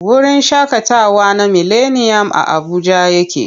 Wurin shaƙatawa na mileniyam a Abuja yake.